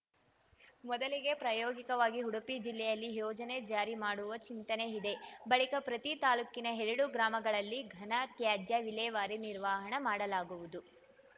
ಮೊದಲಿಗೆ ಪ್ರಾಯೋಗಿಕವಾಗಿ ಉಡುಪಿ ಜಿಲ್ಲೆಯಲ್ಲಿ ಯೋಜನೆ ಜಾರಿ ಮಾಡುವ ಚಿಂತನೆ ಇದೆ ಬಳಿಕ ಪ್ರತಿ ತಾಲೂಕಿನ ಎರಡು ಗ್ರಾಮಗಳಲ್ಲಿ ಘನ ತ್ಯಾಜ್ಯ ವಿಲೇವಾರಿ ನಿರ್ವಹಣೆ ಮಾಡಲಾಗುವುದು